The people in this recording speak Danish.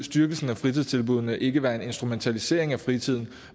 styrkelsen af fritidstilbuddene ikke være en instrumentalisering af fritiden